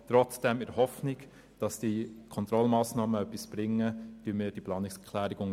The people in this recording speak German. Trotzdem: In der Hoffnung, dass die Kontrollmassnahmen etwas bringen, unterstützen wir diese Planungserklärung.